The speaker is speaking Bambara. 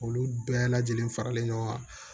Olu bɛɛ lajɛlen faralen ɲɔgɔn kan